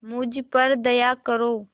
मुझ पर दया करो